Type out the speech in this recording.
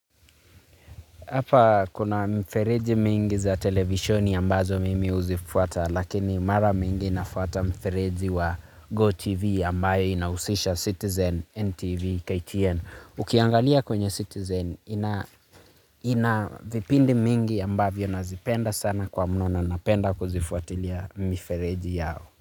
Hapa kuna mfereji mingi za televisioni ambazo mimi huzifuata lakini mara mingi nafuata mfereji wa GoTV ambayo inausisha Citizen NTV KTN. Ukiangalia kwenye Citizen ina vipindi mingi ambavyo nazipenda sana kwa mnona napenda kuzifuatilia mfereji yao.